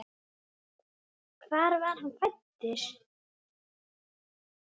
Hvar var hann fæddur?